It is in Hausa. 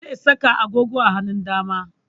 Zai saka agogo a hanun dama